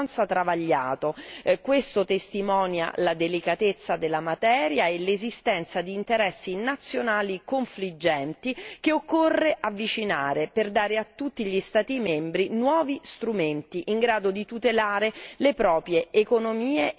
Questo testimonia la delicatezza della materia e l'esistenza di interessi nazionali confliggenti che occorre avvicinare per dare a tutti gli Stati membri nuovi strumenti in grado di tutelare le proprie economie e i propri mercati.